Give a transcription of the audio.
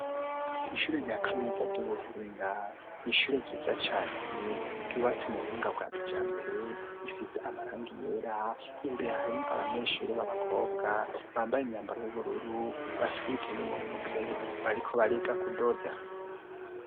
Ishure rya kaminuza ry'ubuhinga n'ishure ryiza cane ryubatse mu buhinga bwa kijambere, isize amarangi yera imbere harimwo abanyeshuri b'abakobwa bambaye imyambaro y'ubururu bafise ibitenge mu ntoke bariko bariga kudoda.